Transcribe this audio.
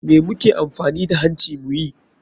Me muke amfani da hancin mu muyi?